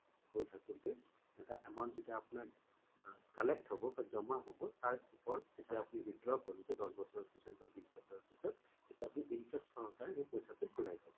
গৈ থাকোঁতে এটা amount যেতিয়া আপোনাৰ collect হব বা জমা হব তাৰ ওপৰত তেতিয়া আপুনি withdraw কৰিব দশ বছৰ বা বিছ বছৰৰ পিছত তেতিয়া আপুনি interest সহকাৰে সেই পইছা টো ঘূৰাই পাব